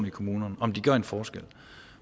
i kommunerne om de gør en forskel